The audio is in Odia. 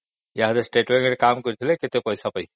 state level ରେ କାମ କରିଥିଲେ କେତେ ପଇସା ପାଇଥାନ୍ତି